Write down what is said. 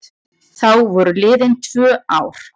Þá voru liðin tvö ár.